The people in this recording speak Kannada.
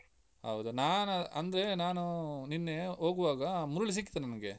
ಹೌದಾ? ನಾನ್ ಅಂದ್ರೆ ನಾನ್ ನಿನ್ನೆ ಹೋಗುವಾಗ ಮುರುಳಿ ಸಿಕ್ಕಿದ ನನ್ಗೆ.